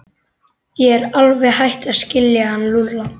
Ég er alveg hætt að skilja hann Lúlla.